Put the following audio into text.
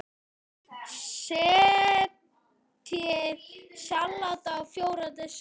Setjið salatið á fjóra diska.